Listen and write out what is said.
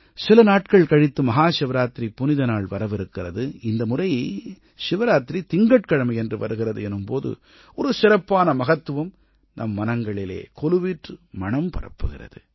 சில நாட்கள் கழித்து மஹாசிவராத்திரி புனித நாள் வரவிருக்கிறது இந்த முறை சிவராத்திரி திங்கட்கிழமையன்று வருகிறது எனும் போது ஒரு சிறப்பான மகத்துவம் நம் மனங்களிலே கொலுவீற்று மணம் பரப்புகிறது